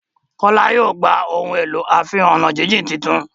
Kola yóò gbà Ohun èlò àfiwo-ọ̀nàjíjìn títún.